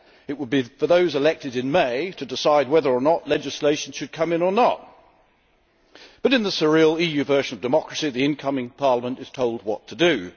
it would be for those elected in May to decide whether or not legislation should come in or not. But in the surreal EU version of democracy, the incoming Parliament is told what to do.